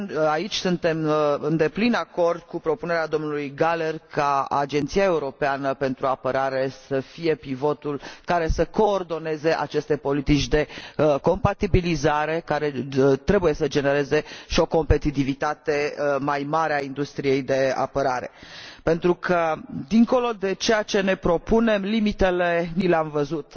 Aici suntem în deplin acord cu propunerea domnului Gahler, ca Agenția Europeană de Apărare să fie pivotul care să coordoneze aceste politici de compatibilizare, care trebuie să genereze și o competitivitate mai mare a industriei de apărare, pentru că, dincolo de ceea ce ne propunem, limitele ni le am văzut.